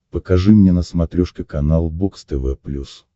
покажи мне на смотрешке канал бокс тв плюс